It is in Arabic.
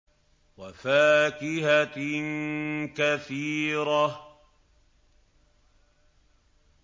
وَفَاكِهَةٍ كَثِيرَةٍ